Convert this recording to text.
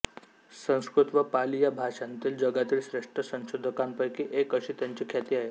संस्कृत व पाली या भाषांतील जगातील श्रेष्ठ संशोधकांपैकी एक अशी त्यांची ख्याती आहे